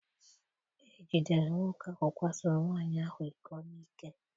Ejidere nwoke ahụ kwasoro nwaanyị ahụ iko n'ike.